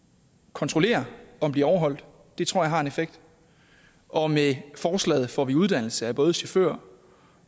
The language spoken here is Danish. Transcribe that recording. kontrollere om bliver overholdt det tror jeg har en effekt og med forslaget får vi uddannelse af både chauffører